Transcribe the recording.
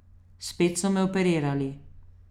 Spet so me operirali.